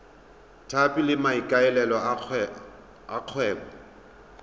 tlhapi ka maikaelelo a kgwebo